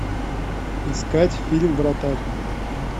искать фильм вратарь